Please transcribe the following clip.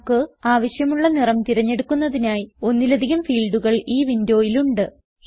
നമുക്ക് ആവിശ്യമുള്ള നിറം തിരഞ്ഞെടുക്കുന്നതിനായി ഒന്നിലധികം ഫീൽഡുകൾ ഈ വിൻഡോയിൽ ഉണ്ട്